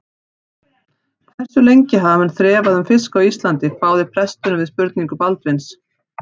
Hversu lengi hafa menn þrefað um fisk á Íslandi, hváði presturinn við spurningu Baldvins.